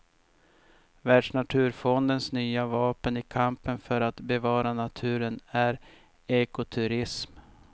Världsnaturfondens nya vapen i kampen för att bevara naturen är ekoturism.